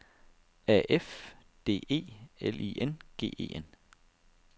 A F D E L I N G E N